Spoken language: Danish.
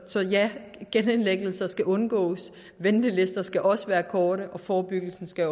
så ja genindlæggelser skal undgås ventelister skal også være korte og forebyggelsen skal